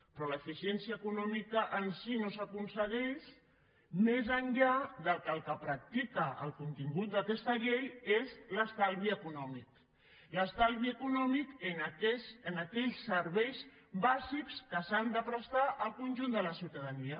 però l’eficiència econòmica en si no s’aconsegueix més enllà que el que practica el contingut d’aquesta llei és l’estalvi econòmic l’estalvi econòmic en aquells serveis bàsics que s’han de prestar al conjunt de la ciutadania